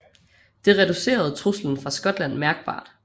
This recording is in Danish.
Det reducerede truslen fra Skotland mærkbart